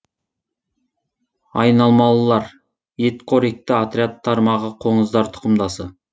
айналмалылар ет қоректі отряд тармағы қоңыздар тұқымдасы